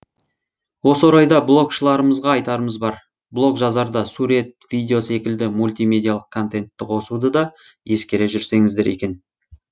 осы орайда блогшыларымызға айтарымыз бар блог жазарда сурет видео секілді мультимедиалық контентті қосуды да ескере жүрсеңіздер екен